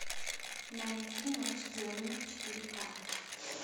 найти ночь демонов четыре ка